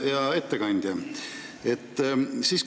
Hea ettekandja!